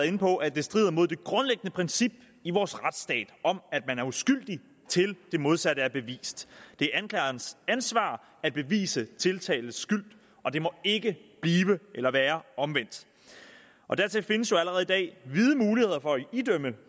inde på at det strider mod det grundlæggende princip i vores retsstat om at man er uskyldig til det modsatte er bevist det er anklagerens ansvar at bevise tiltaltes skyld og det må ikke blive eller være omvendt og dertil findes der jo allerede i dag vide muligheder for at idømme